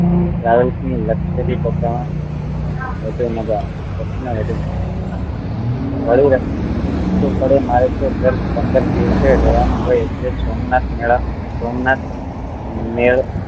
Travels ની luxury bus માં વધું મજા આવે બસ માં વધું મજા આવે વળી ભાડું એ સસ્તું પડે મારે તો દર પંદર દિવસે રેવા નું હોય એટલે જ સોમનાથ મેળા માં સોમનાથ મેળા